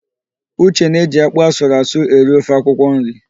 Uche na eji ákpụ́ asụrụasụ eri ofe akwụkwọnri